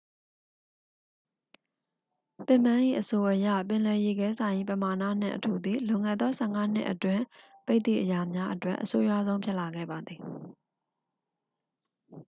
ပစ်မန်း၏အဆိုအရ ပင်လယ်ရေခဲစိုင်၏ ပမာဏနှင့်အထူသည် လွန်ခဲ့သော 15 နှစ်အတွင်း ပိတ်သည့်အရာများအတွက် အဆိုးရွားဆုံးဖြစ်လာခဲ့ပါသည်